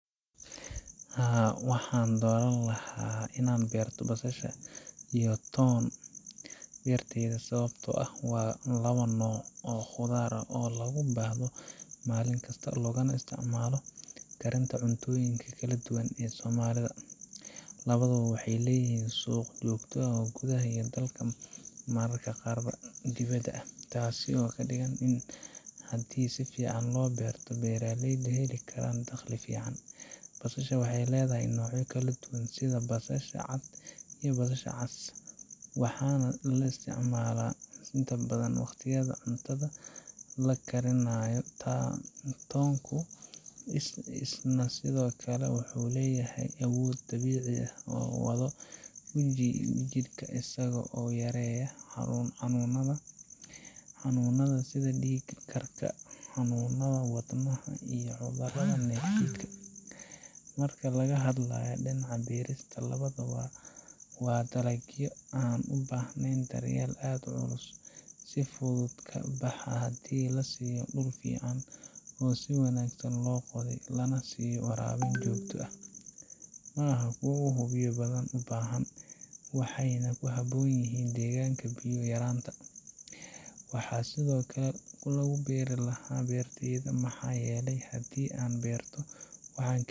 Haa, waxaan dooran lahaa inaan beerto basasha iyo toon beertayda sababtoo ah waa labo nooc oo khudaar ah oo aad loogu baahdo maalin kasta, loogana isticmaalo karinta cunnooyinka kala duwan ee soomaalida. Labaduba waxay leeyihiin suuq joogto ah gudaha dalka iyo mararka qaar dibadda, taasoo ka dhigan in haddii si fiican loo beerto, beeraleydu heli karaan dakhli fiican. Basasha waxay leedahay noocyo kala duwan sida basasha cad iyo basasha cas, waxaana la isticmaalaa inta badan waqtiyada cuntada la karinayo. Toonku isna sidoo kale waxa uu leeyahay awood dabiici ah oo daawo u ah jidhka, isagoo yareeya xanuunnada sida dhiig karka, xanuunnada wadnaha, iyo cudurrada infekshanka. Marka laga hadlayo dhinaca beerista, labaduba waa dalagyo aan u baahnayn daryeel aad u culus, si fududna ku baxa haddii la siiyo dhul fiican oo si wanaagsan loo qoday, lana siiyo waraabin joogto ah. Maaha kuwo aad u biyo badan u baahan, waxayna ku habboon yihiin deegaanka biyo yaraanta leh. Waxaan sidoo kale ku beeri lahaa beertayda maxaa yeelay haddii aan beerto, waxaan